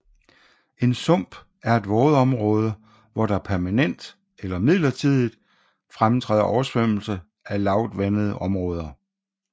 En sump er et vådområde hvor der permanent eller midlertidigt fremtræder oversvømmelse af lavvandede områder